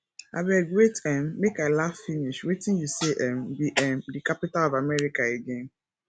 abeg wait um make i iaugh finish wetin you say um be um the capital of america again